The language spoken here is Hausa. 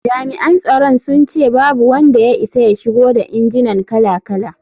Jami’an tsaron sun ce babu wanda ya isa ya shigo da injinan kala-kala.